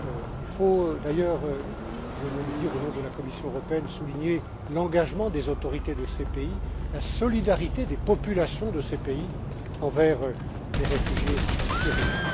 Il faut d'ailleurs je veux le dire au nom de la Commission européenne souligner l'engagement des autorités de ces pays, la solidarité des populations de ces pays envers les réfugiés syriens.